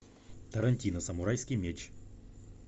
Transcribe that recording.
тарантино самурайский меч